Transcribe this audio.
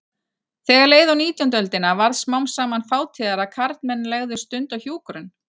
Þegar leið á nítjándu öldina varð smám saman fátíðara að karlmenn legðu stund á hjúkrun.